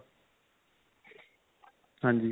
ਹਾਂਜੀ .